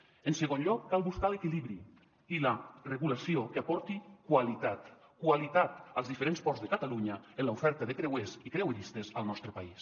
en segon lloc cal buscar l’equilibri i la regulació que aporti qualitat qualitat als diferents ports de catalunya en l’oferta de creuers i creueristes al nostre país